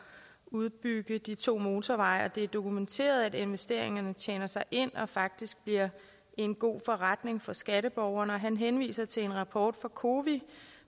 udbygge de to motorveje og at det er dokumenteret at investeringerne tjener sig ind og faktisk bliver en god forretning for skatteborgerne han henviser til en rapport fra cowi